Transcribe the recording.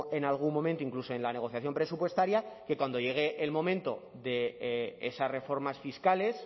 en algún momento incluso en la negociación presupuestaria que cuando llegue el momento de esas reformas fiscales